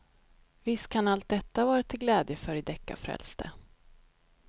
Visst kan allt detta vara till glädje för de deckarfrälste.